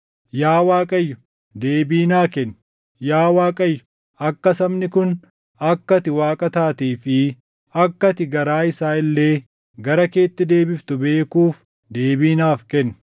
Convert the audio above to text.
Yaa Waaqayyo deebii naa kenni; yaa Waaqayyo akka sabni kun akka ati Waaqa taatee fi akka ati garaa isaa illee gara keetti deebiftu beekuuf deebii naaf kenni.”